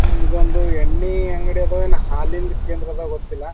ಇದೊಂದು ಎಣ್ಣೆ ಅಂಗಡಿ ಆದವು ಇಲ್ಲ ಹಾಲಿನ ಕೇಂದ್ರವೋ ಗೊತ್ತಿಲ್ಲ.